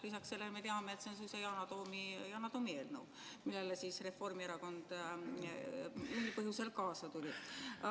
Lisaks sellele me teame, et see on Yana Toomi eelnõu, millega Reformierakond mingil põhjusel kaasa tuli.